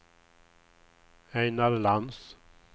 Ejnar Lantz